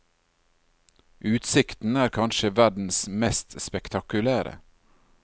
Utsikten er kanskje verdens mest spektakulære.